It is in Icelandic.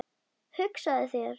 Hugsaðu þér.